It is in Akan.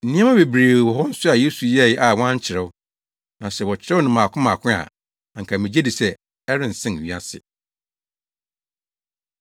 Nneɛma bebree wɔ hɔ nso a Yesu yɛe a wɔankyerɛw, na sɛ wɔkyerɛw no mmaako mmaako a, anka migye di sɛ ɛrensen wiase.